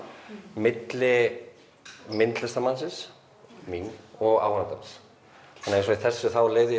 milli myndlistarmannsins mín og áhorfandans eins og í þessu þá leyfði ég